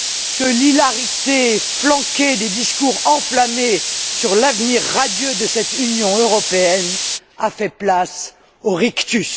que l'hilarité qui accompagnait les discours enflammés sur l'avenir radieux de cette Union européenne a fait place aux rictus.